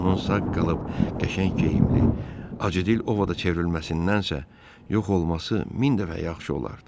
Onunsa qalıb qəşəng geyimli, acıdil Ovada çevrilməsindən isə yox olması min dəfə yaxşı olardı.